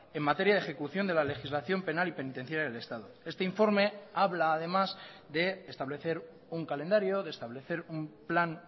en materia de ejecución de la legislación penal y penitenciaria del estado este informe habla además de establecer un calendario de establecer un plan